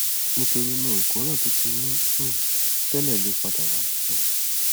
nítorí náà ìkóràn tó ti ní um tẹlẹ lè padà wá um